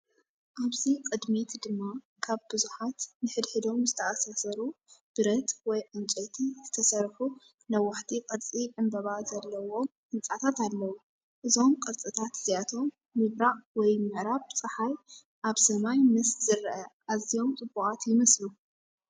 ኣብዚ ቅድሚት ድማ ካብ ብዙሓት ንሓድሕዶም ዝተኣሳሰሩ ብረት ወይ ዕንጨይቲ ዝተሰርሑ ነዋሕቲ ቅርጺ ዕምባባ ዘለዎም ህንጻታት ኣለዉ። እዞም ቅርጽታት እዚኣቶም ምብራቕ ወይ ምዕራብ ጸሓይ ኣብ ሰማይ ምስ ዝረአ ኣዝዮም ጽቡቓት ይመስሉ።